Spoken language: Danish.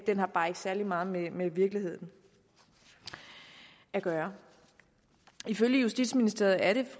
har bare ikke særlig meget med med virkeligheden at gøre ifølge justitsministeriet er det